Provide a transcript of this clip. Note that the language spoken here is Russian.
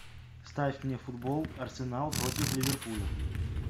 ставь мне футбол арсенал против ливерпуля